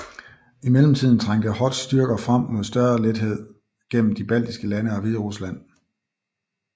I mellemtiden trængte Hoths styrker frem med større lethed gennem de baltiske lande og Hviderusland